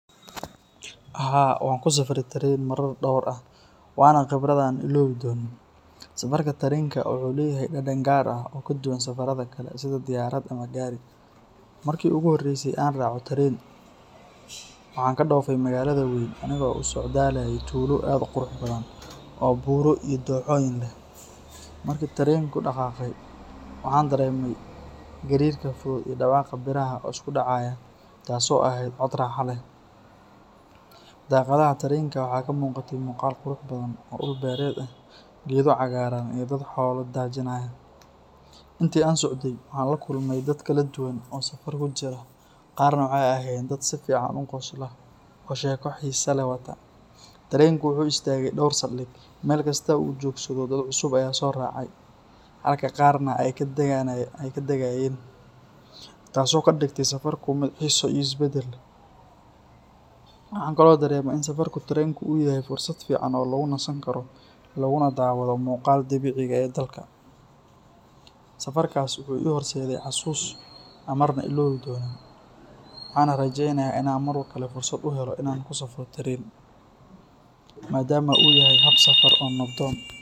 Haa, waan kusafray taren marar dhowr ah, waana khibrad aanan iloobi doonin. Safarka tarenka wuxuu leeyahay dhadhan gaar ah oo ka duwan safarrada kale sida diyaarad ama gaari. Markii ugu horreysay ee aan raaco taren, waxaan ka dhoofay magaalada weyn anigoo u socdaalayay tuulo aad u qurux badan oo buuro iyo dooxooyin leh. Markii tarenku dhaqaaqay, waxaan dareemay gariirka fudud iyo dhawaaqa biraha oo isku dhacaya, taas oo ahayd cod raaxo leh. Daaqadaha tarenka waxaa ka muuqatay muuqaal qurux badan oo dhul beereed ah, geedo cagaaran, iyo dad xoolo daajinaya. Intii aan socday, waxaan la kulmay dad kala duwan oo safar ku jira, qaarna waxay ahaayeen dad si fiican u qosla oo sheeko xiiso leh wata. Tarenku wuxuu istaagay dhowr saldhig, meel kasta oo uu joogsado dad cusub ayaa soo raacay, halka qaarna ay ka dagayeen, taasoo ka dhigtay safarku mid xiiso iyo isbeddel leh. Waxaan kaloo dareemay in safarka tarenku uu yahay fursad fiican oo lagu nasan karo laguna daawado muuqaalka dabiiciga ah ee dalka. Safarkaasi wuxuu ii horseeday xasuus aan marna ilaawi doonin, waxaana rajeynayaa in aan mar kale fursad u helo inaan kusafro taren, maadaama uu yahay hab safar oo nabdoon.